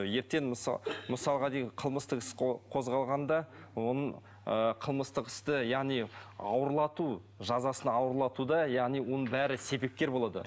ертең мысалға деген қылмыстық іс қозғалғанда оның ыыы қылмыстық істі яғни ауырлату жазасын ауырлатуда яғни оның бәрі себепкер болады